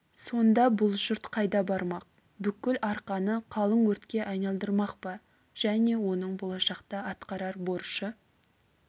сонда бұл жұрт қайда бармақ бүкіл арқаны қалың өртке айналдырмақ па және оның болашақта атқарар борышы